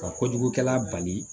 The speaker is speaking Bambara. Ka kojugukɛla bali